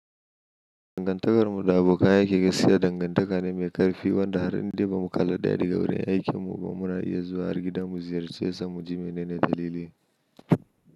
Dangantakarmu da abokan aiki gaskiya dangantaka ne mai ƙarfi, wanda har in dai bamuƙalla daga wurin aikinmu ba mu na iya zuwa har gida mu ziyarce sa, mu ziyarche sa muji mene dalili.